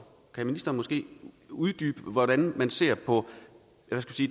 kan ministeren måske uddybe hvordan man ser på